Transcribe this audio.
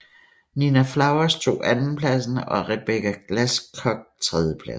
Nina Flowers tog andenpladsen og Rebecca Glasscock tredjepladsen